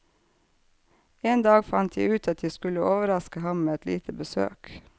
En dag fant jeg ut at jeg skulle overaske ham med et lite besøk.